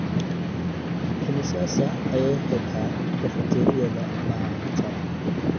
Immisa saac ayay xidhaa kafateeriyada maanta?